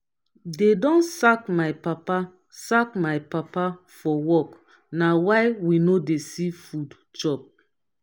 dey don sack my papa sack my papa for work na why we no dey see food chop.